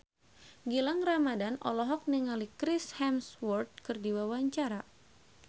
Gilang Ramadan olohok ningali Chris Hemsworth keur diwawancara